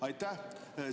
Aitäh!